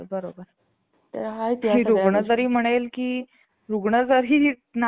अं त्यातून जसं की ग~ गव्हासाठी तुम्ही म्हणले की एखाद-दोन दिवसांमध्ये गहू निघतो. तसंच आता अं ह्याचं पण ज्वारी-बाजरी.